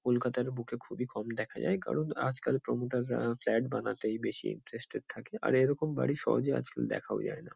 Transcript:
কলকাতার বুকে খুবই কম দেখা যায়। কারণ আজকাল প্রোমোটার -রা ফ্ল্যাট বানাতেই বেশি ইন্টারেস্টেড থাকে। আর এরকম বাড়ি সহজে আজকাল দেখাও যায় না।